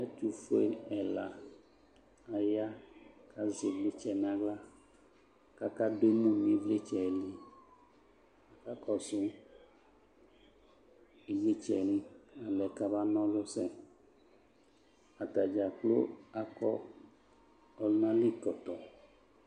Ɛtofue ɛla aya ka zɛ evletsɛ nahla kaka do emu no evletsɛ liAka kɔso ebletsɛ li na lɛ ka ba nɔlu sɛAtane dzakplo akɔ ɔlunali kɔtɔ